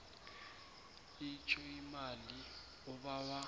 itjho imali obawa